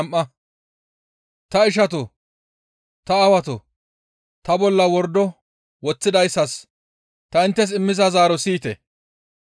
«Ta ishatoo! Ta aawatoo! Ta bolla wordo woththidayssas ta inttes immiza zaaro siyite!»